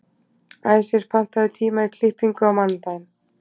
Æsir, pantaðu tíma í klippingu á mánudaginn.